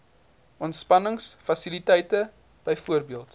ontspannings fasiliteite bv